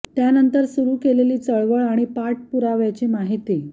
त्यानंतर सुरु केलेली चळवळ आणि पाठपुराव्याची माहिती प्रा